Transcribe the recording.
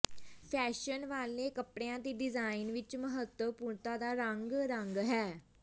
fashion ਵਾਲੇ ਕੱਪੜਿਆਂ ਦੇ ਡਿਜ਼ਾਇਨ ਵਿੱਚ ਮਹੱਤਵਪੂਰਣਤਾ ਦਾ ਰੰਗ ਰੰਗ ਹੈ